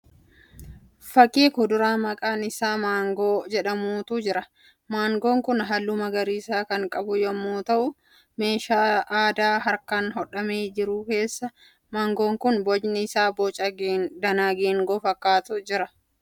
Fakkii kuduraa maqaan isaa Maangoo jedhamuutu jira. Maangoon kun halluu magariisa kan qabu yemmuu ta'u meeshaa aadaa harkaan hodhame keessa jira. Maangoon kun bocni isaa booca danaa geengoo fakkaatee jira.